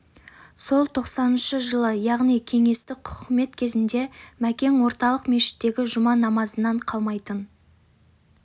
сол тоқсаныншы жылы яғни кеңестік құқымет кезінде мәкең орталық мешіттегі жұма намазынан қалмайтын